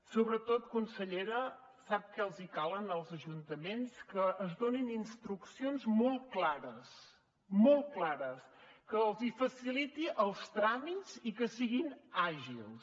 sobretot consellera sap què els cal als ajuntaments que es donin instruccions molt clares molt clares que els faciliti els tràmits i que siguin àgils